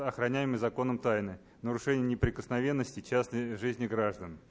охраняемой законом тайны нарушение неприкосновенности частной жизни граждан